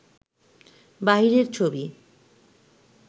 বাহিরের ছবি